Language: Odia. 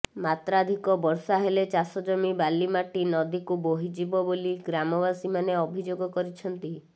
ମାତ୍ରାଧିକ ବର୍ଷା ହେଲେ ଚାଷ ଜମି ବାଲିମାଟି ନଦୀକୁ ବୋହିଯିବ ବୋଲି ଗ୍ରାମବାସୀ ମାନେ ଅଭିଯୋଗ କରିଛନ୍ତି